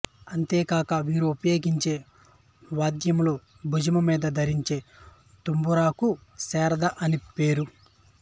అంతే కాక వీరు పయోగించే వాద్యంలో భుజము మీద ధరించే తంబురాకు శారద అనిపేరు